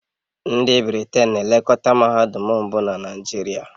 Ndị Britain na-elekọta mahadum mbụ na Naijiria